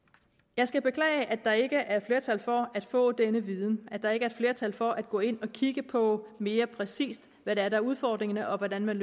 jeg skal beklage at der ikke er et flertal for at få denne viden at der ikke er et flertal for at gå ind og kigge på hvad mere præcis er der er udfordringerne og hvordan man